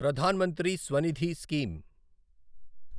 Pradhan Mantri Svanidhi scheme